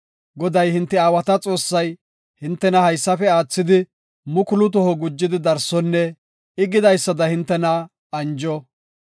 Goday hinte aawata Xoossay, hintena haysafe aathidi mukulu toho gujidi darsonne I gidaysada hintena anjo.